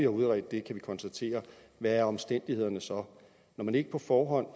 udredt kan vi konstatere hvad omstændighederne så er når man ikke på forhånd